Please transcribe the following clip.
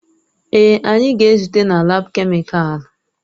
Èè, anyị ga-ezute na laabu kemịkalụ.